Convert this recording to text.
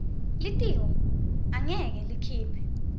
litiko angeke likhiphe